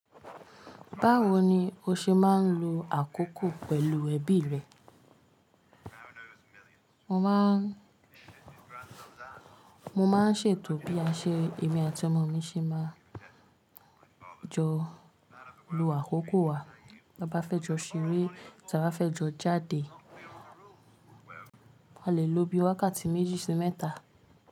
Báwo ni o ṣe máa ń lo àkókò pẹ̀lú ẹbí rẹ? Mo máà ń, mo máà ń ṣètò bí a ṣe, èmi àti ọmọ mi ṣe máa jọ lo àkókò wa. Tá bá fẹ́ jọ ṣeré, tí a bá fẹ́ jọ jáde, a lè lo bí i wákàtí méjì sí mẹ́ta.